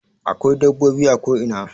Akwai dabbobi a ko ina